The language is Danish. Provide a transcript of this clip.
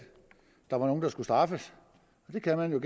der var nogle der skulle straffes det kan man jo